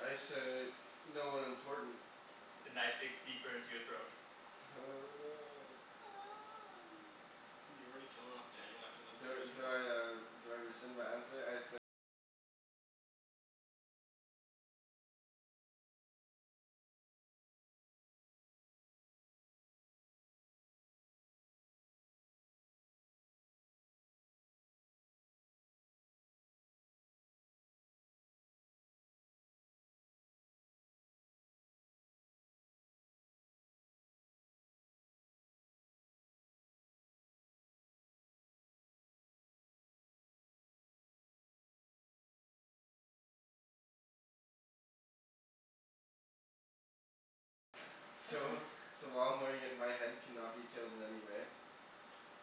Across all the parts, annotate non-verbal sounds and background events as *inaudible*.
I say "no one important." The knife digs deeper into your throat. Oh no. *noise* You're already killing off Daniel after the first roll? So *laughs* so while I'm wearing it my head cannot be killed in any way.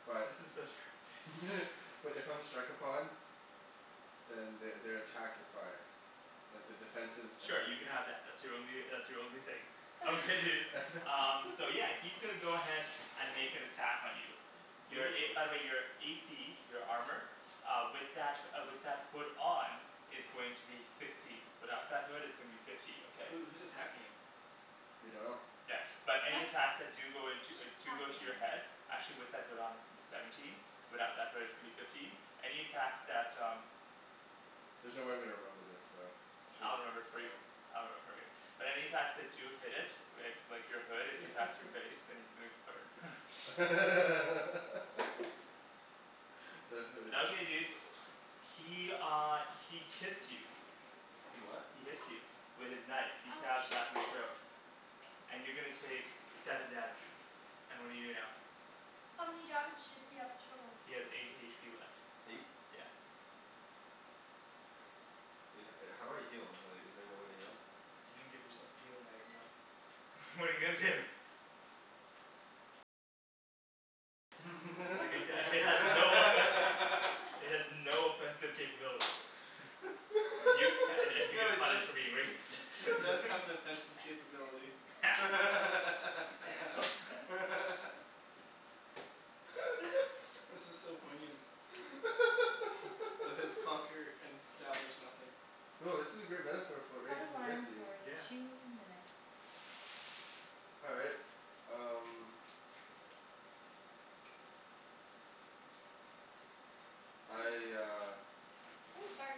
But This is so terrible *laughs* *laughs* but if I'm struck upon Then they they're attacked with fire. Like the defensive abil- Sure, you can have that. That's your only uh that's your only thing. Okay dude, *laughs* um so *laughs* yeah he's gonna go ahead and make an attack on you. Wait, Your who a, by wh- the way your a c, your armor Uh with that uh with that hood on is going to be sixteen. Without that hood it's going to be fifteen, okay? Who who's attacking him? We dunno. Yeah, but *laughs* any attacks that do go into uh Just do go to attacking. your head actually with that hood on is going to be seventeen, without that hood it's gonna be fifteen. Any attacks that um There's no way I'm gonna remember this so should I'll remember it for we you, uh I'll remember it for you. But any attacks that do hit it with like your hood, if he attacks your *laughs* face, then he's gonna burn *laughs* *laughs* *noise* the hooded Okay, *inaudible* dude. He uh he kits you. He what? He hits you. With his knife. He stabs the Ouch. back of your throat. And you're gonna take seven damage. And what do you do now? How many damage does he have total? He has eight h p left. Eight. Yeah. Is that, uh how do I heal? Like, is there no way to heal? You didn't give yourself a healing item though. *laughs* What're you gonna do? Like it uh *laughs* it has no effect *laughs* *laughs* *laughs* It has *laughs* no offensive capability. *laughs* Y- and and *laughs* you No get it does punished for being racist *laughs* it does *laughs* *laughs* have an offensive capability *laughs* *laughs* *laughs* *laughs* This is so poignant. The hoods *laughs* conquer and establish nothing. Yo, this is a great metaphor for what Set racism gets alarm you. for two minutes. All right, um I uh *noise* Ooh, sorry.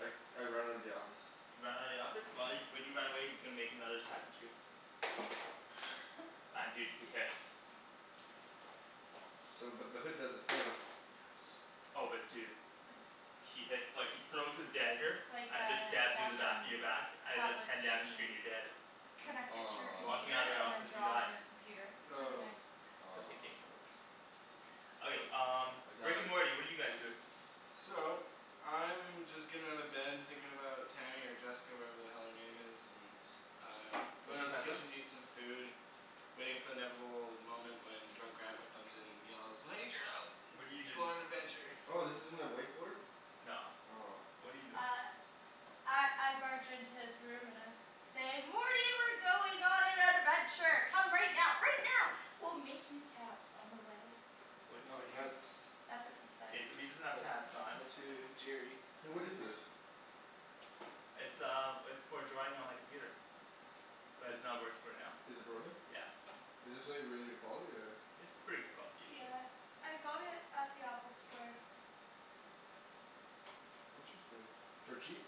I I run out of the office You run out of the office? While you, when you run away he's gonna make another attack at you. *laughs* And dude, he hits. So but the hood does the thing. Yes. Oh but dude. So He hits like, he throws his dagger It's like and it just a stabs you in the back Wacom in your back and it does tablet ten so you damage to you can and you're dead. connect it to your Walking Aw computer out of that and then office you draw die. on your computer. It's really Oh. nice. It's okay, *inaudible* what you Aw said. Okay Okay. um I Rick and died. Morty, what are you guys doing? So, I'm just getting out of bed and thinking about Tammy or Jessica or whatever the hell her name is, and I'm Oh going can you down to the pass that? kitchen to eat some food. Waiting for the inevitable moment when drunk grandpa comes in and yells "I need your help *noise* What're you let's go doing? on an adventure!" Oh this isn't a whiteboard? No. Aw What're you doing? Uh I I barge into his room and I say "Morty we're going on an adventure. Come right now, right now. We'll make you pants on the way." What No what do you that's That's what he says. K, so he doesn't have But pants on. but to Jerry Hey *laughs* what is this? It's um it's for drawing on my computer. But Is it's not working right now. is it broken? Yeah. Is this like really good quality or? It's pretty good quality usually. Yeah, I got it at the Apple store. Interesting. For cheap?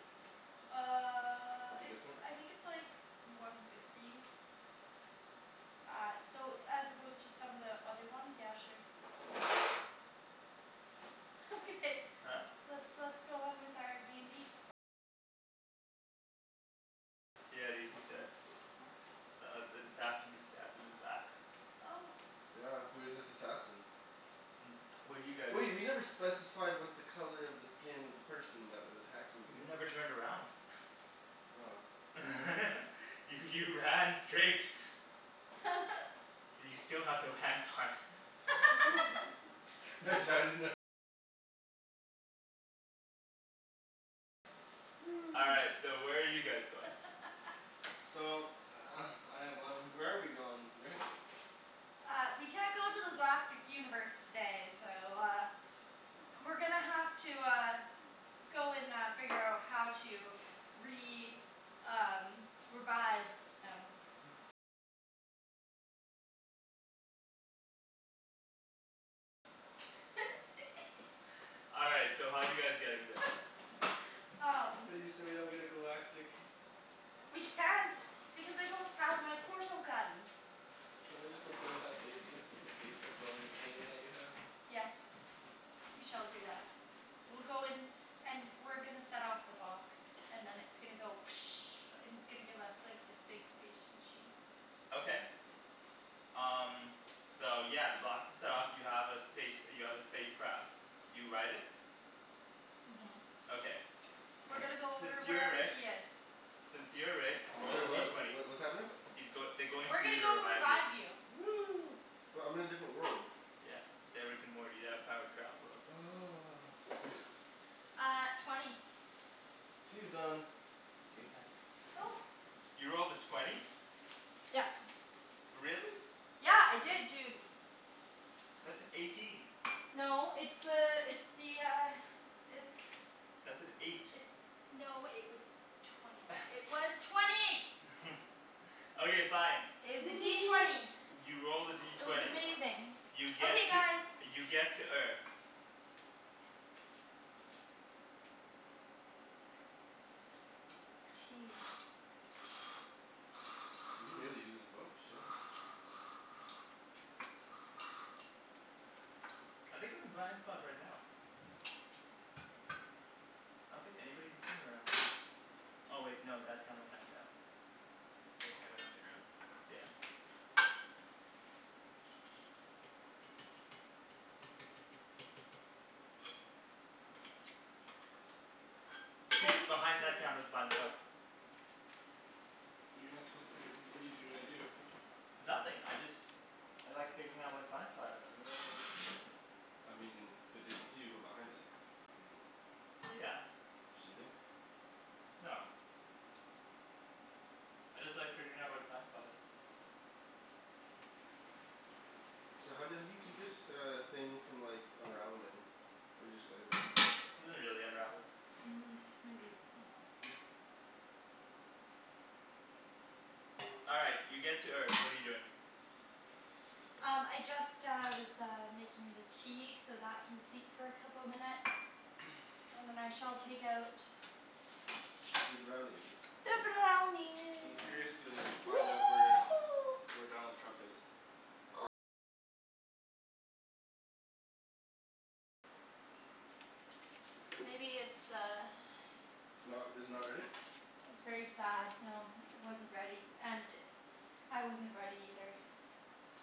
Uh With your it's, discount? I think it's like one fifty. Uh so as opposed to some of the other ones, yeah sure. *laughs* Okay, Huh? let's let's go on with our d n d Yeah dude, he's dead. Oh S- uh, an assassin just stabbed him in the back. Oh Yeah, who's this assassin? *noise* What do you guys Wait, we never specified what the color of the skin of the person that was attacking me You was. never turned around. Oh. *laughs* You you ran straight. *laughs* You still have no pants on. *laughs* *laughs* All right, *laughs* so where are you guys going? *laughs* So *noise* I have one, where are we going, Rick? Uh we can't go to the galactic universe today so uh We're gonna have to uh go and uh figure out how to re- um revive him. All right, so how are you guys getting there? *laughs* um We so we don't get a galactic We can't because I don't have my portal gun. Can't we just go play with that basement the basement dwelling alien that you have? Yes. We shall do that. We'll go and and we're gonna set off the box. And then it's gonna go *noise* and it's gonna give us like this big space machine. Okay. Um so yeah, the box is set off. You have a space you have a space craft. You ride it. Mhm. Okay. We're gonna go Since over you're wherever Rick. he is. Since you're Rick, roll the Sorry D what? Wh- twenty. wh- what's happening? He's goi- they're going We're to you gonna to go revive you. revive you. Woo but I'm in a different world. Yeah. They're Rick and Morty. They have the power to travel worlds. Oh *laughs* Uh twenty Tea is done. Tea's done. *noise* Oh. You rolled a twenty? Yep. Really? Yeah. I did dude. That's an eighteen. No it's uh it's the uh it's That's an eight. It's no it was twenty. It was twenty! *laughs* Okay, fine. It was a D twenty. *noise* *noise* You rolled a D It was twenty. amazing. You get Okay to guys. you get to Earth. Tea. You really use this book? Shit. I think I'm a blind spot right now. I don't think anybody can see me right now. Oh wait, no that camera can, damn. There are cameras on the ground? Yeah. Dude, behind that camera's Tasty. a blind spot. But you're not supposed to b- what're you gonna do? Nothing, *noise* I just I like figuring out where the blind *noise* spot is. Oh okay. I mean, but they'd see you go behind it. *noise* Yeah. Should we? No. I just like figuring out where the blind spot is. So how do you how do you keep this uh thing from like unraveling? Or do you just go like this? It doesn't really unravel. Mm, maybe a bit more. All right, you get to Earth. What are you doing? Um I just uh was uh making the tea, so that can steep for a couple minutes. *noise* And then I shall take out Zee brownies. the I'm brownie curious to *noise* find out where where Donald Trump is. Maybe it's uh Not r- is it not ready? It was very sad, no. It wasn't ready, and I wasn't ready either.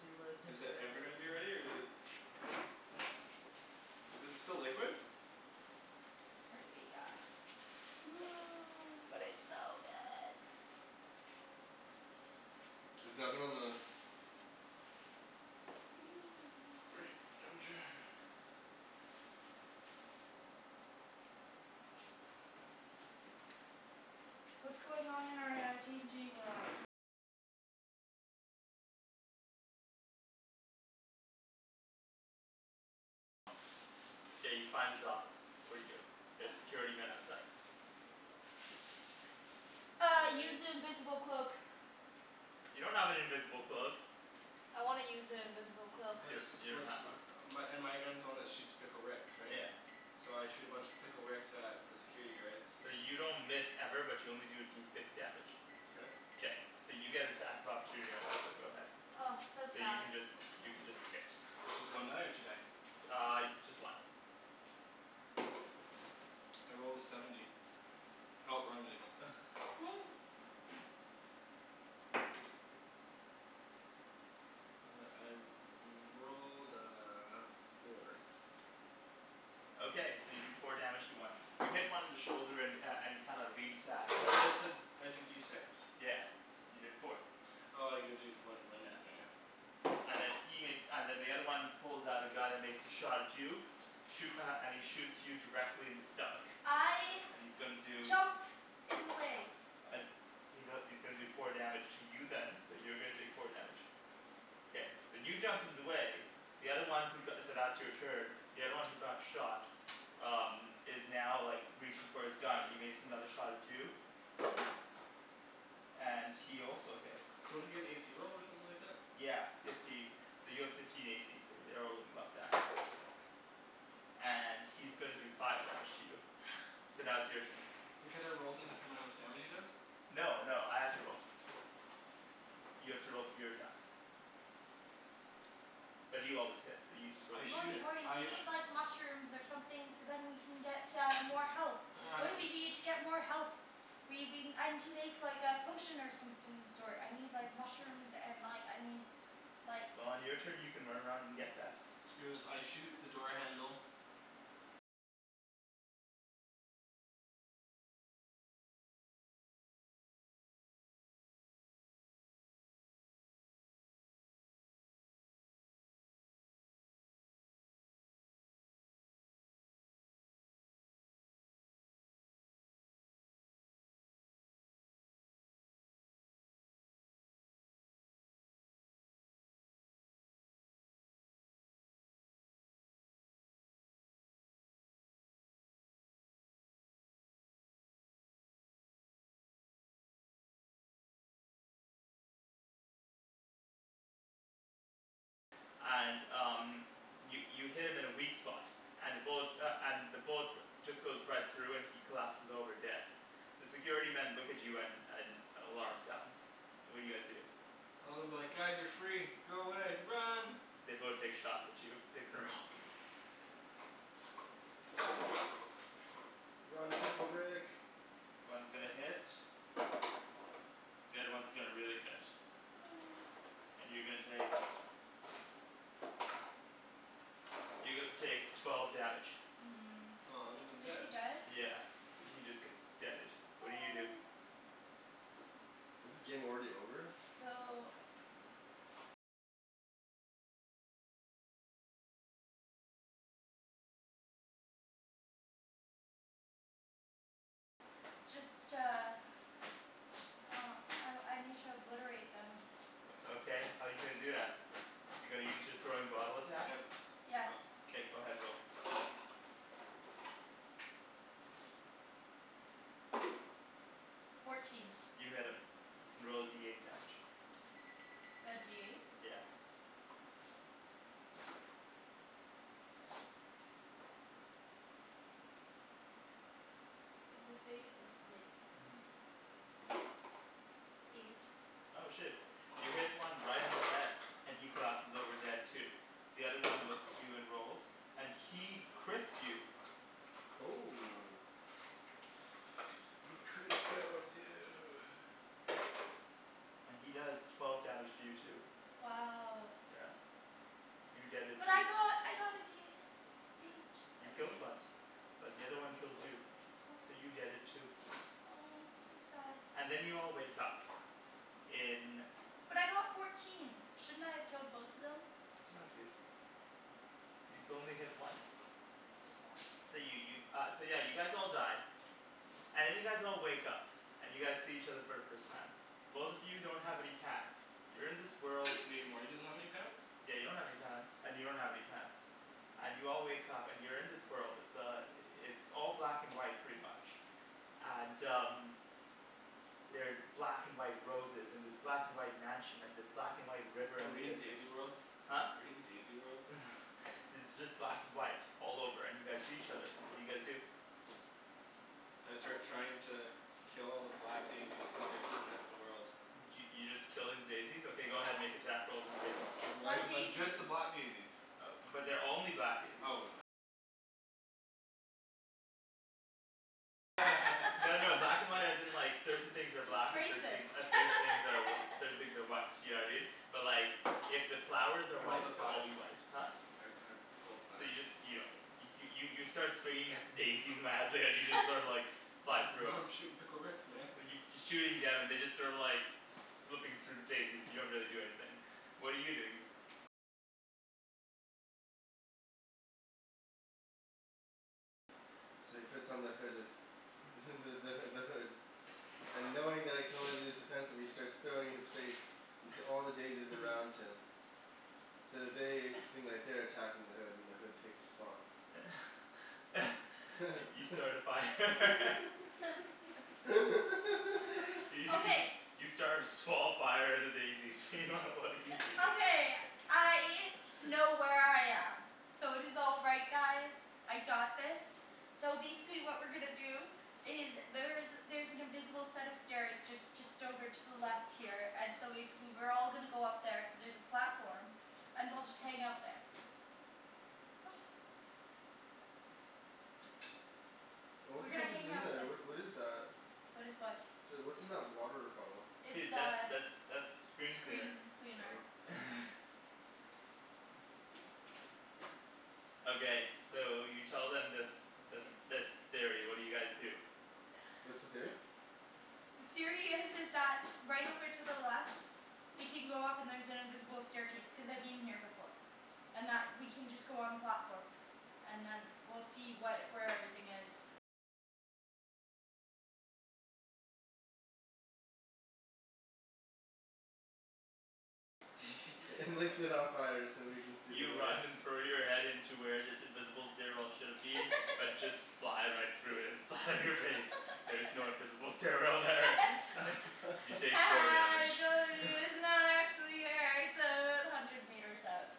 He wasn't Is that ready. ever gonna be ready or is it Is it still liquid? Apparently yeah, seems like it. But *noise* it's so good. Is the oven on the right temperature? K, you find his office. What do you do? There's *noise* security men outside. Uh, I use the invisible cloak. You don't have an invisible cloak. I wanna use an invisible cloak. You Let's don- you don't let's, have one. my and my gun's the one that shoots Pickle Ricks, right? Yeah. So I shoot a bunch of Pickle Ricks at the security guards. So you don't miss ever, but you only do D six damage. K. K, so you get attack of opportunity right now, so go ahead. Oh so So you sad. can just you can just hit. It's just one die or two die? Uh, just one. I rolled a seventy. Oh wrong dice. *laughs* *noise* *noise* I rolled a four. Okay, so you do four damage to one. You hit one in the shoulder and uh and he kind of leans back. I thought you said I do D six. Yeah, you did four. Oh you gotta do for when Yeah. when oh yeah. And then he makes, and then the other one pulls out a gun and makes a shot at you. Shoo- uh, and he shoots you directly in the stomach. I And he's gonna do jump in the way. Uh he's a- he's gonna do four damage to you then, so you're gonna take four damage. Okay. K, so you jumped in the way, the other one who go- so that's your turn. The other one who got shot um is now like reaching for his gun and he makes another shot at you and he also hits. Don't I get an a c roll or something like that? Yeah, fifteen. So you have fifteen a c so you're *inaudible* And he's gonna do five damage to you. *noise* So now it's your turn. But can't I roll to determine how much damage he does? No, no, I have to roll. You have to roll for your attacks. But you always hit, so you just roll a I D shoot Morty, six. Morty we I need like mushrooms or something so then we can get uh more health. What do we *noise* need to get more health? We we, I need to make like a potion or something of the sort. I need like mushrooms and like I need like Well on your turn you can run around and get that. Screw this, I shoot the door handle And um, you you hit him in a weak spot, and the bullet uh and the bullet just goes right through and he collapses over dead. The security men look at you and and an alarm sounds. What do you guys do? Well I'm like "Guys you're free. Go away. Run!" They both take shots at you. Make a roll. Run, Pickle Rick! One's gonna hit. The other one's gonna really hit. *noise* And you're gonna take you're gonna take twelve damage. Hmm, Oh that means I'm is he dead. dead? Yeah, so he just gets deaded. What do you do? Aw. Is the game already over? No, So no. Um I I need to obliterate them. O okay, how're you gonna do that? You're gonna use your throwing bottle attack? Yes. Somethin' K, go ahead, roll. Fourteen. You hit him. You can roll a D eight damage. The D eight? Yeah. Is this eight? This is eight. Mhm. Eight. Oh shit. You hit one right in the head, and he collapses over dead too. The other one looks at you and rolls, and he crits you Oh. *noise* He criticaled you! and he does twelve damage to you too. Wow. Yeah. You deaded But too. I got I got a D H You out of killed one. eight. But the other one killed you. So Aw. you deaded too. Oh, so sad. And then you all wake up in But I got fourteen, shouldn't I have killed both of them? No dude. You could only hit one. So sad. So you you uh yeah so you guys all die. And then you guys all wake up, and you guys see each other for the first time. Both of you don't have any pants. You're in this world Wait, Morty doesn't have any pants? Yeah you don't have any pants and you don't have any pants. And you all wake up and you're in this world. It's uh it's all black and white pretty much. And um They're black and white roses and this black and white mansion and this black and white river Are in the we in distance. Daisy World? Huh? We in Daisy World? *laughs* It's just black and white all over and you guys see each other. What do you guys do? I Um start trying to kill all the black daisies cuz they're heatin' up the world. Y- y- you just killing daisies? Okay go ahead, make attack rolls on the daisies. Why Why do you But *noise* just daisies? the black daisies. But they're only black daisies. No no black and white as in like certain things are black and certain Racist. thing uh *laughs* certain things are certain things are white, you know what I mean? But like if the flowers are I rolled white, a they'll all five. be white. Huh? I I rolled a So five. you just you don't hit 'em. You you start swinging at the daisies madly and you just *laughs* sorta like fly *laughs* through Yo 'em. I'm shootin' Pickle Ricks man. And you f- you're shooting them and they're just sort of like flipping through daisies, they don't really do anything. What are you doing? So he puts on the hood of *noise* *laughs* the the h- the hood. And knowing that it can only be used defensively he starts throwing his face into all the *laughs* daisies around *laughs* him. So they *noise* seem like they're attacking the hood and the hood takes response. *laughs* You start a fire. *laughs* *laughs* *laughs* Y- you s- Okay. you start a small fire at a daisy. *laughs* What are you doing? Okay, I *laughs* know where I am. So it is all right guys. I got this. So basically what we're gonna do is there's there's an invisible set of stairs just just over to the left here and so basically we're all gonna go up there cuz there's a platform. And we'll just hang out there. What? Oh what We're the gonna heck is hang in out there? the- What what is that? . What is what? The, what's in that water bottle? It's Dude, that's uh that's that's screen cleaner. screen cleaner. Oh. *laughs* Okay, so you tell them this this *noise* this theory, what do you guys do? What's the theory? The theory is is that right over to the left we can go up and there's an invisible staircase, cuz I've been here before. And that we can just go on platform and then we'll see what, where everything is. *laughs* *laughs* And lights it on fire so we can see You the way. run and throw your head into where this invisible stairwell should've been, but just *laughs* fly right through it and *noise* land on your face. There is no *laughs* invisible stairwell there. *laughs* You *laughs* *laughs* take Ha four ha damage I trolled *laughs* you it's not actually here it's o- about hundred meters up.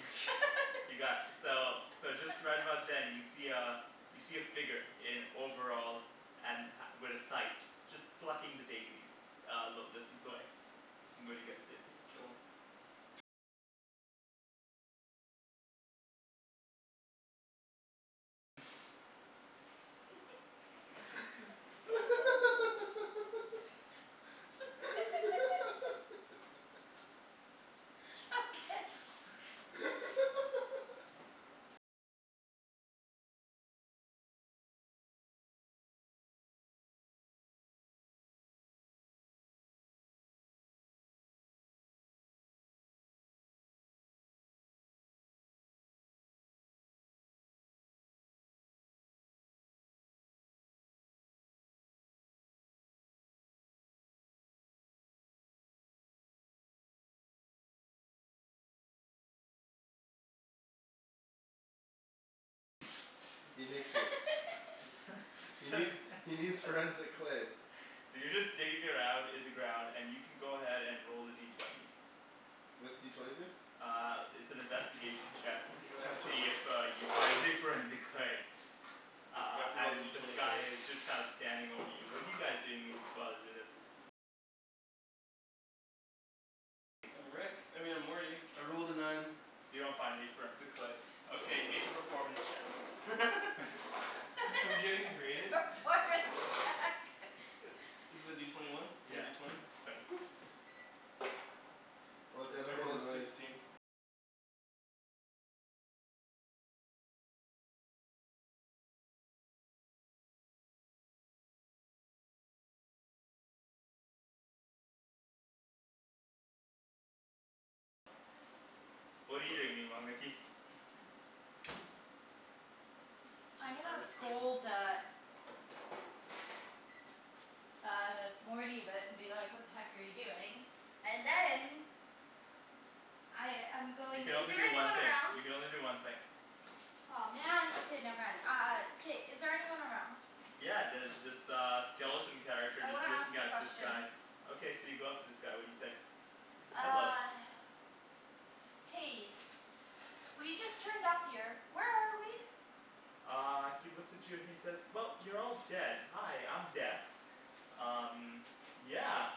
*laughs* *laughs* You got, so so just right *laughs* about then you see uh you see a figure in overalls and ha- with a sight. Just plucking the daisies a little distance away. What do you guys do? Kill him. *laughs* So bad dude. *laughs* *laughs* *laughs* *laughs* Okay *laughs* *laughs* He nicks it. *laughs* He needs he needs forensic clay. So you're just digging around in the ground and you can go ahead and roll a D twenty. What's D twenty do? Uh it's an investigation check You're gonna to have to ro- see if uh you find your forensic clay. You Uh have to roll and D this twenty for guy this. is just kind of standing over you. What are you guys doing mean- while he's doing this? I'm Rick. I mean I'm Morty. I rolled a nine. You don't find any forensic clay. Okay, make a performance check. *laughs* *laughs* I'm getting *laughs* rated? Performance check *laughs* *laughs* Is it a D twenty one? Or a Yeah. D twenty? Twenty. *noise* Or they It's, haven't I made a rolled a noise. sixteen. What're you doing meanwhile, Nikki? I'm She's gonna harvesting. scold uh Uh Morty but and be like "What the heck are you doing?" And then I I'm You going, can is only there do one anyone thing. around? You can only do one thing. Aw man. Okay, never mind. Uh K, is there anyone around? Yeah, there's this uh skeleton character I just wanna ask looking him at this guy. questions. Okay, so you go up to this guy. What do you say? He says "Hello." Uh Hey, we just turned up here. Where are we? Uh he looks at you and he says "Well, you're all dead. Hi, I'm Death." "Um, yeah,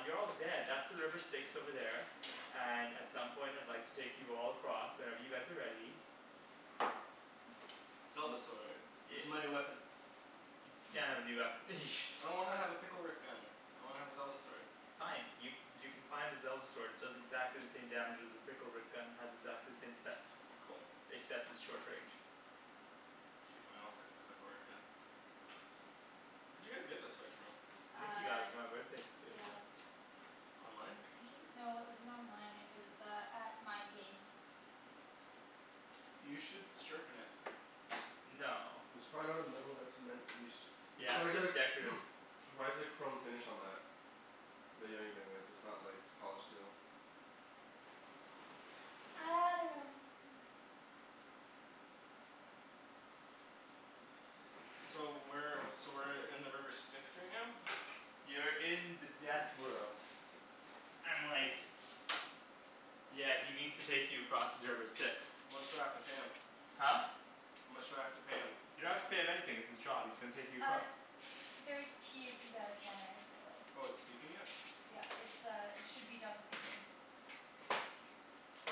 you're all dead. That's the river Styx over there." "And at some point I'd like to take you all across, whenever you guys are ready." Zelda *noise* sword. This Yeah. is my new weapon. You can't have a new weapon. *laughs* I don't wanna have a Pickle Rick gun. I wanna have a Zelda sword. Fine. Y- you can find a Zelda sword. It does exactly the same damage as your Pickle Rick gun, has exactly the same effect. Cool. Except it's short range. K, fine, I'll stick with the Pickle Rick gun. Where'd you guys get this sword from? Nikki got it Uh for my birthday couple years yeah. ago. Online? I think it w- no it wasn't online. It was uh at Mind Games. You should sharpen it. No. It's probably not a metal that's meant to be st- it's Yeah, probably it's got a just decorative. *noise* why is there chrome finish on that? Bet you anything that that's not like polished steel. I dunno. So where so we're in the river Styx right now? You're in the death world. And like Yeah, he needs to take you across the river Styx. How much do I have to pay him? Huh? How much do I have to pay him? Didn't have to pay him anything; it's his job. He's gonna take you Uh, across. there's tea if you guys want there as well. Oh it's steeping it? Yeah, it's uh it should be done steeping.